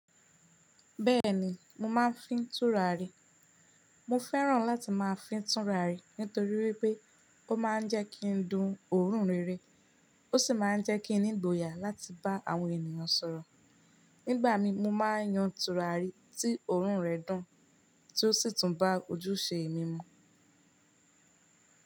Bẹ́ẹ̀ni, mo máà ń fín tùràrí. Mo fẹ́ràn láti máa fín tùràrí nítorí pé ó ma ń jẹ́ kí ndun òórùn rere, ó sì ma ń jẹ́ kí ni ìgboyà láti bá àwọn ènìyàn sọ̀rọ̀. Nígbà mi mo máa ń yan tùràrí tí òórùn rẹ dùn, tí ó sì tún bá ojúṣe mi mu.